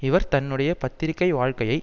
இவர் தன்னுடைய பத்திரிகை வாழ்க்கையை